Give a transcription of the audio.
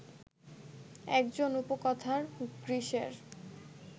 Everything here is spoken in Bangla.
একজন উপকথার গ্রীসের